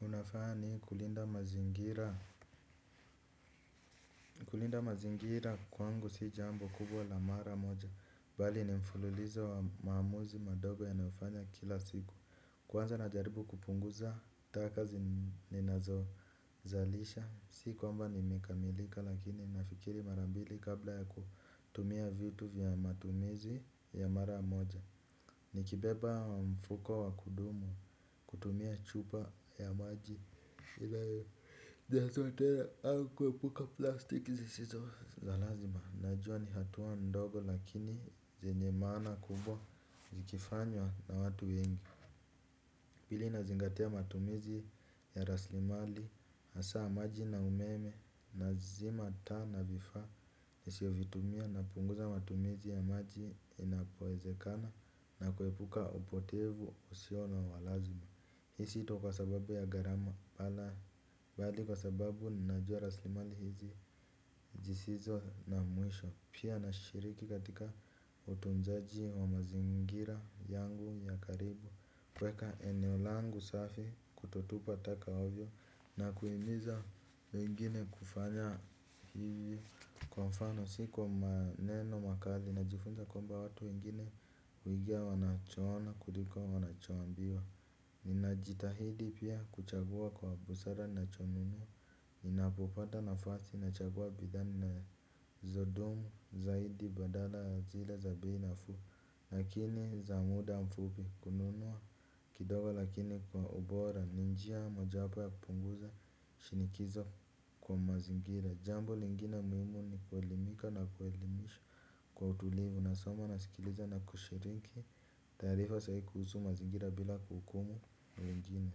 Unafani kulinda mazingira kwangu si jambo kubwa la mara moja. Bali ni mfululizo wa maamuzi madogo ya nafanya kila siku. Kwanza na jaribu kupunguza taka zi ninazo zalisha. Si kwamba ni mekamilika lakini nafikiri marambili kabla ya kutumia vitu vya matumizi ya mara moja. Ni kibeba wa mfuko wa kudumu kutumia chupa ya maji au kuepuka plastiki. Najua ni hatua ndogo lakini zenye maana kubwa zikifanywa na watu wengi. Pili nazingatia matumizi ya raslimali hasa maji na umeme nazima taa na vifaa. Nisio vitumia na punguza matumizi ya maji inapoezekana. Na kuepuka upotevu usio na walazima. Hisi ito kwa sababu ya gharama wala bali kwa sababu najua raslimali hizi zisizo na mwisho. Pia na shiriki katika utunzaji wa mazingira yangu ya karibu. Kweka eneo langu safi kutotupa taka ovyo. Na kuhimiza wengine kufanya hivi kwa mfano. Siko maneno makali na jifunza kwamba watu wengine huigia wanacho ona kutiko wanachoqmbiwa. Nina jitahidi pia kuchagua kwa busara na cho nuno. Nina popata nafasi nachagua bidha nina zodumu zaidi badala ya zile za bei nafu lakini za muda ya mfupi kununua kidogo lakini kwa ubora ninjia moja wapo ya kupunguza shinikizo kwa mazingira jambo lingine muhimu ni kuelimika na kuelimisha kwa utulivu nasoma nasikiliza na kushirinki taarifa sahii kuhusu mazingira bila kuhukumu wengine.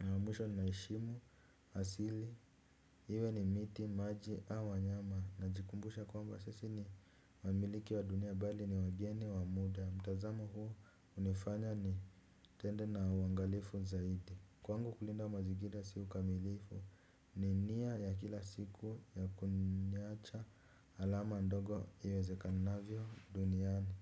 Na wamwisho ninaheshimu, asili, iwe ni miti, maji, au wanyama. Najikumbusha kwamba sisi ni wamiliki wa dunia bali ni wageni wa muda. Mtazamo huu hunifanya ni tende na uangalifu zaidi. Kwangu kulinda mazingira si ukamilifu. Ni nia ya kila siku ya kuniacha alama ndogo iwezekanavyo duniani.